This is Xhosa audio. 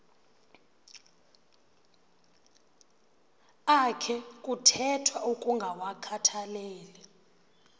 akhe kuthethwa ukungawakhathaleli